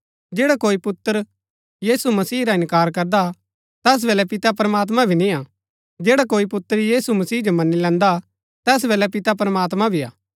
जैडा कोई पुत्र यीशु मसीह रा इन्कार करदा तैस बल्लै पिता प्रमात्मां भी निआ जैडा कोई पुत्र यीशु मसीह जो मन्‍नी लैन्दा तैस बल्लै पिता प्रमात्मां भी हा